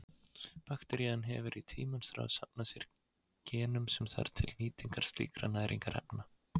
Bakterían hefur í tímans rás safnað sér genum sem þarf til nýtingar slíkra næringarefna.